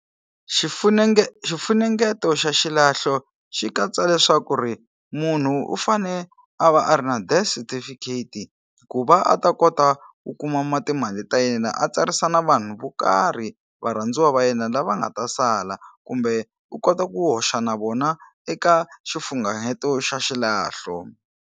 xifunengeto xa xilahlo xi katsa leswaku ri munhu u fane a va a ri na death certificate ku va a ta kota ku kuma ma timali ta yena a tsarisa na vanhu vo karhi varhandziwa va yena lava nga ta sala kumbe u kota ku hoxa na vona eka xifungaheto xa xilahlo.